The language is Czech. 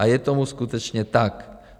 A je tomu skutečně tak.